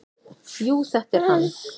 """Jú, þetta er hann."""